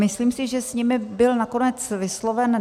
Myslím si, že s nimi byl nakonec vysloven...